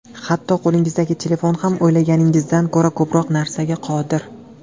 Hatto qo‘lingizdagi telefon ham o‘ylaganingizdan ko‘ra ko‘proq narsaga qodir.